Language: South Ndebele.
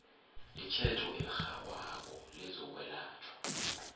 itjhejo elirhabako lezokwelatjhwa